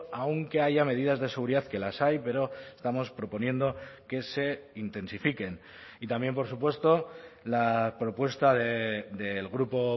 aunque haya medidas de seguridad que las hay pero estamos proponiendo que se intensifiquen y también por supuesto la propuesta del grupo